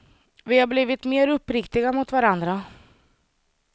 Vi har blivit mer uppriktiga mot varandra.